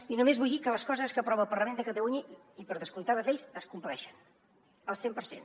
i només vull dir que les coses que aprova el parlament de catalunya i per descomptat les lleis es compleixen al cent per cent